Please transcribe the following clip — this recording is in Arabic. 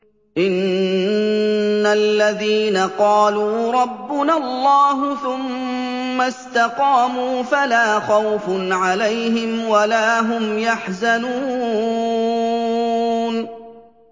إِنَّ الَّذِينَ قَالُوا رَبُّنَا اللَّهُ ثُمَّ اسْتَقَامُوا فَلَا خَوْفٌ عَلَيْهِمْ وَلَا هُمْ يَحْزَنُونَ